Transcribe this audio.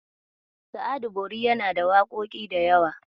Sa'adu Bori yana da waƙoƙi da yawa.